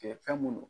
fɛn mun don